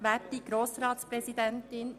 Herzlich willkommen!